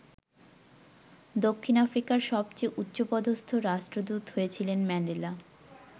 দক্ষিণ আফ্রিকার সবচেয়ে উচ্চপদস্থ রাষ্ট্রদূত হয়েছিলেন ম্যান্ডেলা।